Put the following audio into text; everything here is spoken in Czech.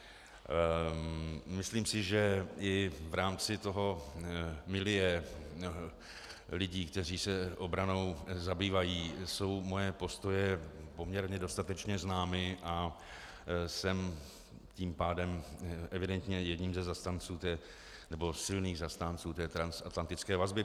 Myslím si, že i v rámci toho milieu lidí, kteří se obranou zabývají, jsou moje postoje poměrně dostatečně známy, a jsem tím pádem evidentně jedním ze zastánců, nebo silných zastánců, té transatlantické vazby.